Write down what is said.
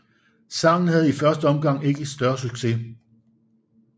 Sangen havde i første omgang ikke større succes